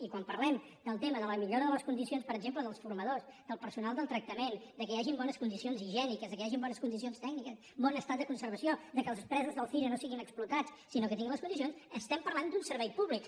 i quan parlem del tema de la millora de les condicions per exemple dels formadors del personal de tractament del fet que hi hagin bones condicions higièniques que hi hagin bones condi cions tècniques bon estat de conservació del fet que els presos del cire no siguin explotats sinó que tinguin les condicions parlem d’un servei públic